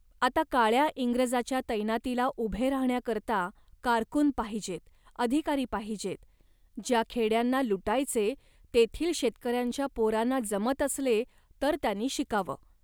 आता काळ्या इंग्रजाच्या तैनातीला उभे राहण्याकरता कारकून पाहिजेत, अधिकारी पाहिजेत. ज्या खेड्यांना लुटायचे तेथील शेतकऱ्यांच्या पोरांना जमत असले तर त्यांनी शिकावं